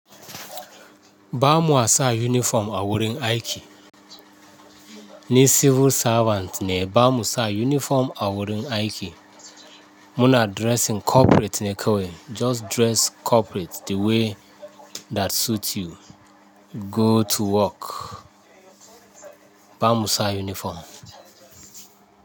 Ba ma sa uniform awurin aiki. Ni civil servant ne, ba mu sa uniform awurin aiki. Muna dressing corporate ne kawai. Just dress corporate the way that suit you. Go to work. Ba mu sa uniform.